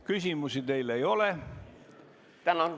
Küsimusi teile ei ole.